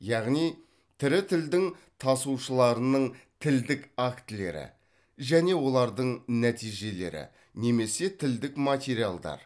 яғни тірі тілдің тасушыларының тілдік актілері және олардың нәтижелері немесе тілдік материалдар